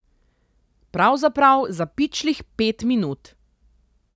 Pravzaprav za pičlih pet minut!